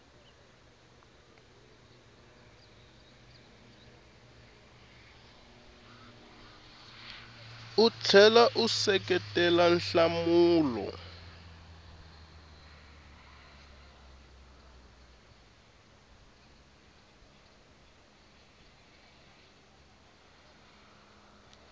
u tlhela u seketela nhlamulo